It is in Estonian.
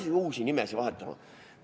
Kas hakkame nimesid vahetama?